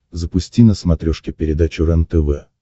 запусти на смотрешке передачу рентв